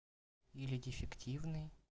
или дефективный